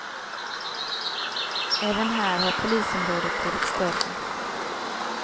Även här har polisområdet blivit större.